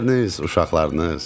İşləriniz, uşaqlarınız?